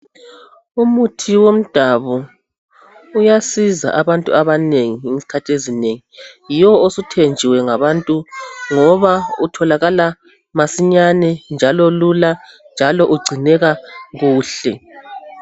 Umuthi womdabo iyasiza abantu abanengi ezikhathini ezinengi yiwo osuthenjiwe ngabantu ngoba utholakala masinyane njalo lula njalo ugcineka kuhle